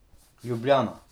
Ljubljana.